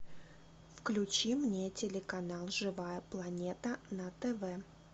включи мне телеканал живая планета на тв